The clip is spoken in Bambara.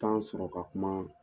sɔrɔ ka kuma.